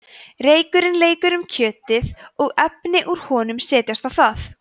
reykurinn leikur um kjötið og efni úr honum setjast á það